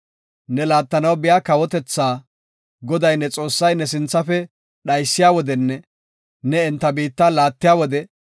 Ne laattanaw biya kawotethaa, Goday ne Xoossay ne sinthafe dhaysiya wodenne ne enta biitta laattiya wode,